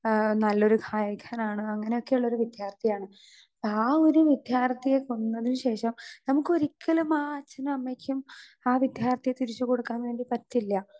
Speaker 2 ആ നല്ലൊരു ഗായകനാണ്. അങ്ങനെ ഒക്കെ ഉള്ള ഒരു വിദ്യാർത്ഥി ആണ്. ആ ഒരു വിദ്യാർത്ഥിയെ കൊന്നതിനുശേഷം നമുക്ക് ഒരിക്കലും ആ അച്ഛനും അമ്മക്കും ആ വിദ്യാർത്ഥിയെ തിരിച്ച് കൊടുക്കാൻ വേണ്ടി പറ്റില്ല.